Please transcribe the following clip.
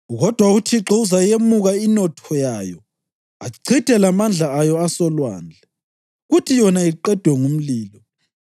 Kodwa uThixo uzayemuka inotho yayo achithe lamandla ayo asolwandle, kuthi yona iqedwe ngumlilo.